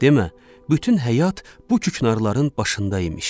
Demə, bütün həyat bu küknarların başında imiş.